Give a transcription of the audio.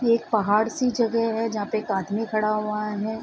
ये एक पहाड़ सी जगह है जहाँ पे एक आदमी खड़ा हुआ है।